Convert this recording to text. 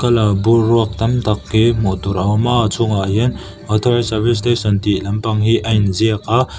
bur ruak tam tak hi hmuh tur a awm a a chhungah hian authorised service station tih lampang hi a in ziak a.